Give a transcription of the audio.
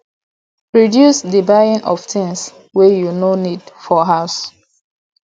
reduce di buying of things wey you no need for house